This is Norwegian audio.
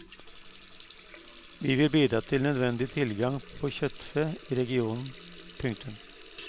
Vi vil bidra til nødvendig tilgang på kjøttfe i regionen. punktum